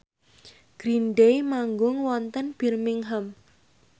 Green Day manggung wonten Birmingham